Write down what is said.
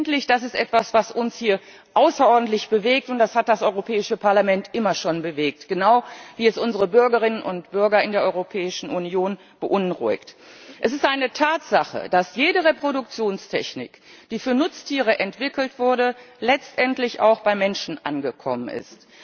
Letztendlich ist da etwas, was uns hier außerordentlich bewegt, das hat das Europäische Parlament immer schon bewegt, genau wie es unsere Bürgerinnen und Bürger in der Europäischen Union beunruhigt Es ist eine Tatsache, dass jede Reproduktionstechnik, die für Nutztiere entwickelt wurde, letztendlich auch beim Menschen angekommen ist.